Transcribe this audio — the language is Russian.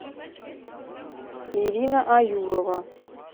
ирина аюрова